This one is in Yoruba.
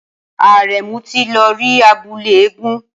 Aremu ti lọ rí abúlé eégún